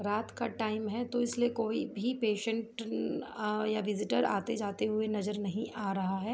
रात का टाइम है तो इसलिए कोई भी पेशेंट आह अ डिजिटल आते जाते हुए नजर नहीं आ रहा हैं।